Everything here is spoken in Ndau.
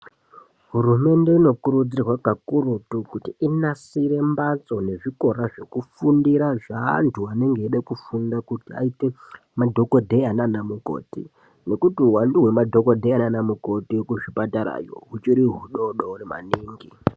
Hurumende inokurudzirwa kakurutu kuti inasira mbatso nezvikora zvekufundira zveantu anenge eide kufunda kuti aite madhokodheya naanamukoti nekuti uwandu hwemadhokodheya naanamukoti kuzvipatara-yo huchiri hudodori maningi.